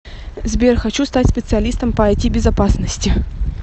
сбер хочу стать специалистом по айти безопасности